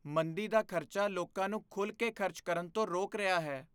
ਮੰਦੀ ਦਾ ਖ਼ਤਰਾ ਲੋਕਾਂ ਨੂੰ ਖੁੱਲ੍ਹ ਕੇ ਖ਼ਰਚ ਕਰਨ ਤੋਂ ਰੋਕ ਰਿਹਾ ਹੈ।